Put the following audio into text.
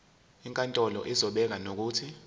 inkantolo izobeka nokuthi